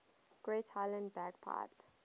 great highland bagpipe